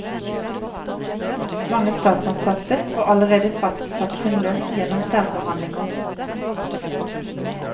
Mange statsansatte får allerede fastsatt sin lønn gjennom særforhandlinger.